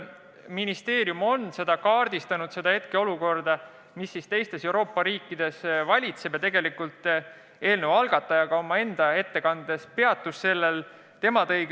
Ministeerium on kaardistanud hetkeseisu, mis teistes Euroopa riikides praegu valitseb, ja eelnõu algataja esindaja peatus sellel ka oma ettekandes.